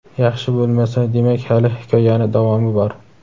Yaxshi bo‘lmasa demak hali hikoyani davomi bor.